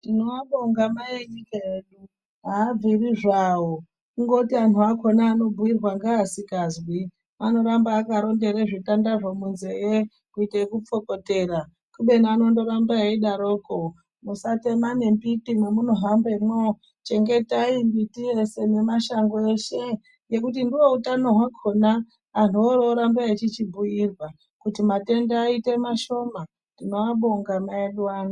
Tinoabonga mai enyika yedu. Aabviri zvawo kungoti anhu akona anobhuyirwa ngeasikazwi anoramba akarondere zvitandazvo munzee kuite ekupfokotera kubeni anondoramba eidaroko . Musatema nembiti mwemunohambemwo. Chengetai mbiti yese nemashango eshe ngekuti ndoutano hwakona, anhu orooramba eichichibhuyirwa kuti matenda aite mashoma. Tinoabonga mai edu ano.